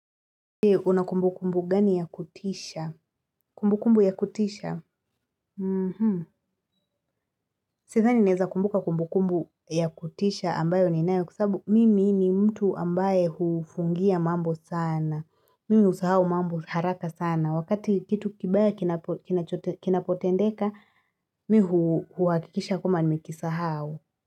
Je, una kumbukumbu gani ya kutisha? Kumbukumbu ya kutisha? Sidhani naeza kumbuka kumbukumbu ya kutisha ambayo ninayo kwa sabu mimi ni mtu ambaye hufungia mambo sana. Mimi husahau mambo haraka sana. Wakati kitu kibaya kinapotendeka, mi huhakikisha kwamba nimekisahau.